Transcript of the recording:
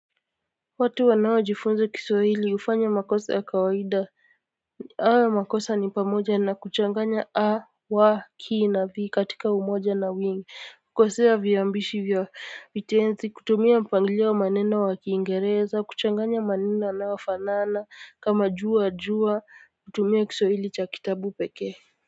Watu wanaojifunza kiswahili hufanya makosa ya kawaida hayo makosa ni pamoja na kuchanganya a wa ki na v katika umoja na wingi hukosea viambishi vya vitenzi kutumia mpangilio wa maneno wa kiingereza kuchanganya maneno yanayofanana kama juwa juwa kutumia kiswahili cha kitabu pekee.